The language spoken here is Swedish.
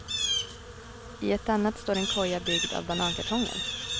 I ett annat står en koja byggd av banankartonger.